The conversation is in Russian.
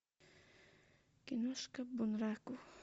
киношка бунраку